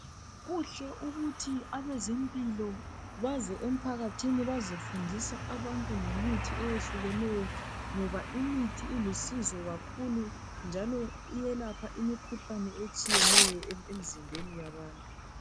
Kuhle kakhulu ukuthi abezempilo baze emphakathini bazefundisa abantu ngemithi eyehlukeneyo ngoba imithi ilusizo kakhulu njalo iyelapha imikhuhlane etshiyeneyo emzimbeni yabantu.